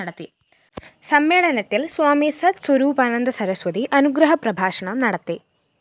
സമ്മേളനത്തില്‍ സ്വാമി സത്ത്‌ സ്വരൂപാനന്ദ സരസ്വതി അനുഗ്രഹ പ്രഭാഷണം നടത്തി